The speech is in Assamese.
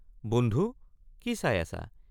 বন্ধু কি চাই আছা?